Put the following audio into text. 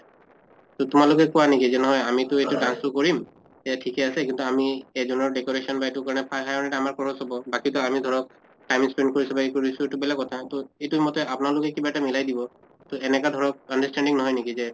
তʼ তোমালোকে কোৱা নেকি যে নহয় আমিটো এইটো dance টো কৰিম এয়া ঠিকে আছে কিন্তু আমি এজনৰ decoration বা এইটো কাৰণে five hundred আমাৰ খৰচ হʼব বাকীতো আমি ধৰক time spend কৰিছো বা ই কৰিছো এইটো বেলেগ কথা। তʼ এইটো মতে আপোনালোকে কিবা এটা মিলাই দিব। ত এনেকা ধৰক understanding নহয় নেকি যে